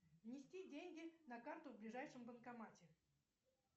внести деньги на карту в ближайшем банкомате